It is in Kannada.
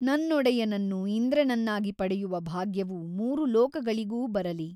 ನನ್ನೊಡೆಯನನ್ನು ಇಂದ್ರನನ್ನಾಗಿ ಪಡೆಯುವ ಭಾಗ್ಯವು ಮೂರು ಲೋಕಗಳಿಗೂ ಬರಲಿ !